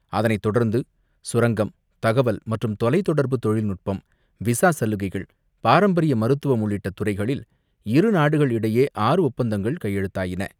அதனைத் தொடர்ந்து சுரங்கம், தகவல் மற்றும் தொலைத் தொடர்பு தொழில் நுட்பம், விசா சலுகைகள், பாரம்பரிய மருத்துவம் உள்ளிட்ட துறைகளில் இரு நாடுகள் இடையே ஆறு ஒப்பந்தங்கள் கையெழுத்தாயின.